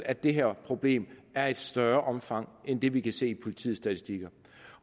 at det her problem er af et større omfang end det vi kan se af politiets statistikker